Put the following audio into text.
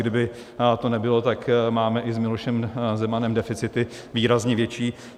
Kdyby to nebylo, tak máme i s Milošem Zemanem deficity výrazně větší.